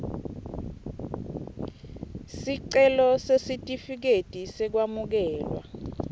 sicelo sesitifiketi sekwamukelwa